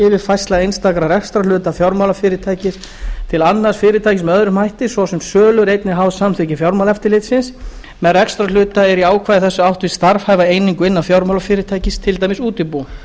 yfirfærsla einstaka rekstrarhluta fjármálafyrirtækis til annars fyrirtækis með öðrum hætti svo sem sölu er einnig háð samþykki fjármálaeftirlitsins með rekstrarhluta er í ákvæði þessu átt við starfhæfa einingu innan fjármálafyrirtækis til dæmis útibú